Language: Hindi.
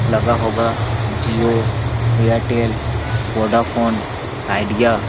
लगा होगा जिओ एयरटेल वोडाफ़ोन आइडीअ --